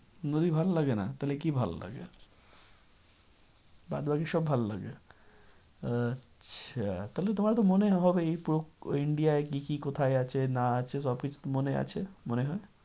নদী ভালো লাগে না তাহলে কি ভালো লাগে? বাদবাকি সব ভালো লাগে? আচ্ছা তাহলে তোমার তো মনে হবেই india কি কি কোথায় আছে না আছে সব কিছু তো মনে আছে? মনে হয়